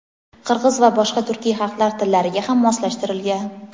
qirg‘iz va boshqa turkiy xalqlar tillariga ham moslashtirilgan.